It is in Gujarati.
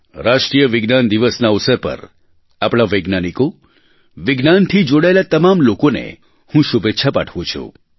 રાષ્ટ્રીય વિજ્ઞાન દિવસના અવસર પર આપણાં વૈજ્ઞાનિકો વિજ્ઞાનથી જોડાયેલ તમામ લોકોને હું શુભેચ્છા પાઠવું છું